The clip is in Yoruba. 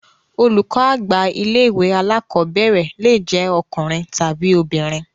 Olùkọ́ àgbà ilé ìwé alákọ̀berẹ̀ le jẹ ọkùnrin tàbi obìnrin.